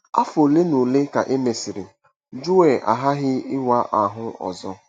Afọ ole na ole ka e mesịrị, Joel aghaghị ịwa ahụ ọzọ.